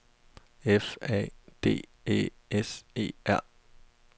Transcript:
F A D Æ S E R